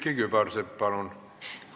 Külliki Kübarsepp, palun!